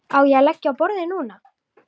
Á ég að leggja á borðið núna?